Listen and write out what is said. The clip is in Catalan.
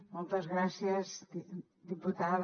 moltes gràcies diputada